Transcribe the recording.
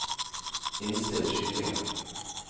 innstill skytingen